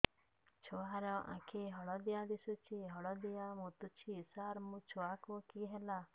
ଛୁଆ ର ଆଖି ହଳଦିଆ ଦିଶୁଛି ହଳଦିଆ ମୁତୁଛି ସାର ମୋ ଛୁଆକୁ କି ହେଲା